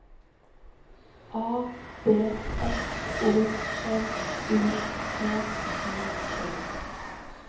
A B S O L U T T E